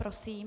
Prosím.